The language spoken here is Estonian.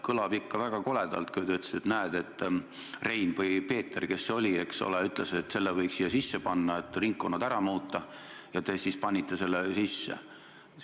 Kõlas ikka väga koledalt, kui te ütlesite, et näed, et Rein või Peeter või kes see oli, eks ole, ütles, et selle võiks siia sisse panna, et ringkonnad ära muuta, ja te siis panitegi selle sisse.